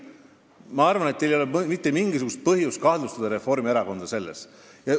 Ma arvan, et teil ei ole mitte mingisugust põhjust Reformierakonda selles kahtlustada.